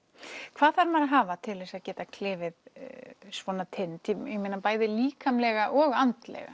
hvað þarf maður að hafa til að geta klifið svona tind ég meina bæði líkamlega og andlega